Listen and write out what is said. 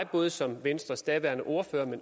både som venstres daværende ordfører